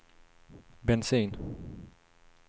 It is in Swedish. bensin